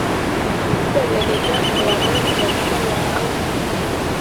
mbelekenya ewang'an tenabaya ang'